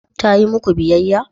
Ta yi muku biyayya?